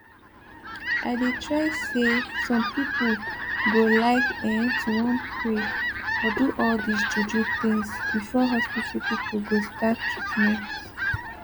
i dey try say some pipo go like eh to wan pray or do all dis juju things before hospital pipo go start treatment